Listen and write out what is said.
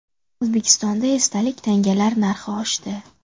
O‘zbekistonda esdalik tangalar narxi oshdi.